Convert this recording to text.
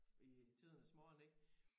I tidernes morgen ik